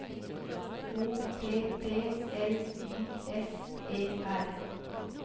O P P L Y S E R